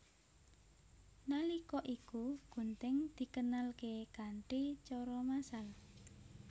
Nalika iku gunting dikenalké kanthi cara massal